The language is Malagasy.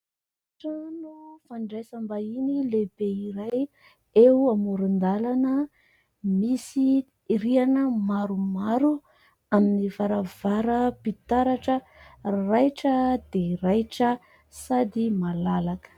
Trano fandraisam-bahiny lehibe iray eo amoron-dalana, misy rihana maromaro amin'ny varavaram-pitaratra raitra dia raitra sady malalaka.